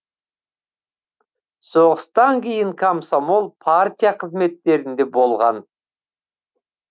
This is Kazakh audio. соғыстан кейін комсомол партия қызметтерінде болған